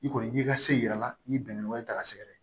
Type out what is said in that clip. I kɔni i y'i ka se yira a la i ye bɛnkan wɛrɛ ta k'a sɛgɛrɛ